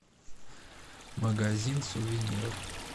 магазин сувениров